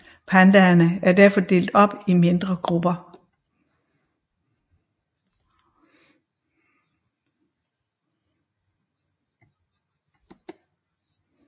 Pandaerne er derfor blevet delt op i mindre grupperinger